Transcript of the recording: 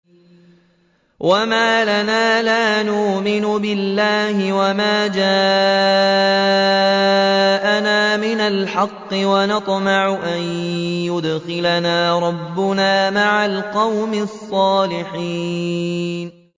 وَمَا لَنَا لَا نُؤْمِنُ بِاللَّهِ وَمَا جَاءَنَا مِنَ الْحَقِّ وَنَطْمَعُ أَن يُدْخِلَنَا رَبُّنَا مَعَ الْقَوْمِ الصَّالِحِينَ